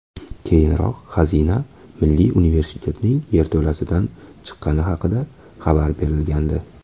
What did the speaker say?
Keyinroq xazina Milliy universitetning yerto‘lasidan chiqqani haqida xabar berilgandi .